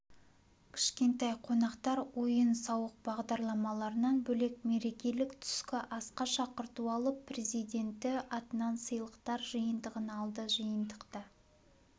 кішкентай қонақтар ойын-сауық бағдарламаларынан бөлек мерекелік түскі асқа шақырту алып президенті атынан сыйлықтар жиынтығын алды жиынтықта